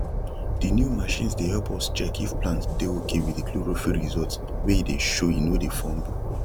the new machines dey help us check if plant dey okay with the chlorophll result wey e dey showe no dey fumble